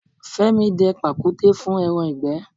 Fẹ́mi dẹ pàkúté fún ẹran ìgbẹ́.